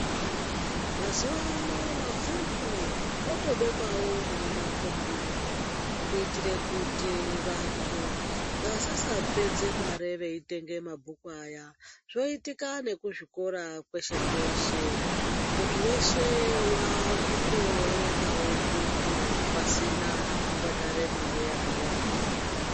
Mazuva ano mabhuku otobekwawo nemumakombiyuta kuita kuti vantu vasasapedze mare vaitenge mabhuku aya ,zvoitika nekuzvikora kweshe kweshe muntu weshe wakutowerengawo bhuku pasina kubhadhara mare yakawanda.